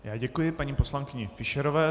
Já děkuji paní poslankyni Fischerové.